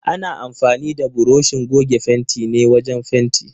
Ana amfanin da buroshin goge fentin ne wajen fenti.